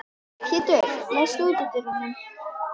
Pétur, læstu útidyrunum.